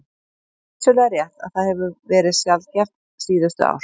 Það er vissulega rétt að það hefur verið sjaldgæft síðustu ár.